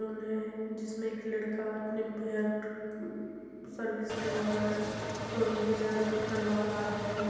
उन्हे जिसमें एक लड़का अपने हेयर अ ब सर्विस करवा रहा है। मतलब सॉरी हेयर कट करवा रहा है।